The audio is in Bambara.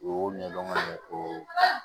O y'o ɲɛdɔn ka ɲɛ o